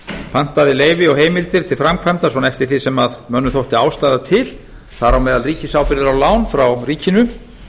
pantaði leyfi og heimildir til framkvæmda svona eftir því sem mönnum þætti ástæða til þar á meðal ríkisábyrgðir á lán frá ríkinu